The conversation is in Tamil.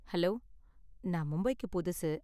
ஹலோ, நான் மும்பைக்கு புதுசு